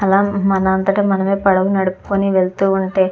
అక్కడ మనం అంతట మనమే పడవ నడుపుకొని వెళ్తూ ఉంటే--